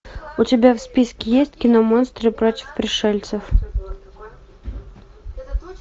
у тебя в списке есть киномонстры против пришельцев